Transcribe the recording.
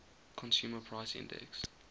consumer price index